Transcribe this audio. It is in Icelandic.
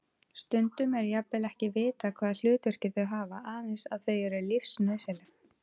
Stundum er jafnvel ekki vitað hvaða hlutverk þau hafa, aðeins að þau eru lífsnauðsynleg.